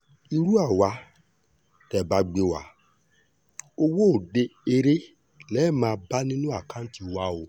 irú àwa tẹ́ ẹ bá gbé wa owó òde eré lè máa bá nínú àkáǹtì wa o